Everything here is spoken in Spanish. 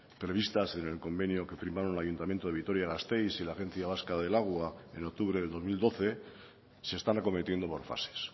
previstas en el convenio que firmaron el ayuntamiento de vitoria gasteiz y la agencia vasca del agua en octubre de dos mil doce se están acometiendo por fases